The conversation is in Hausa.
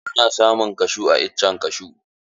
Ana samun kashu a iccen kashu.